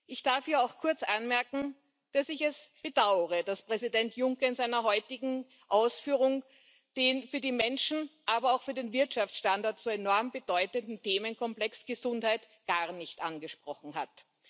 Ich darf hier auch kurz anmerken, dass ich es bedaure, dass Präsident Juncker in seiner heutigen Ausführung den für die Menschen, aber auch für den Wirtschaftsstandort so enorm bedeutenden Themenkomplex Gesundheit gar nicht angesprochen hat.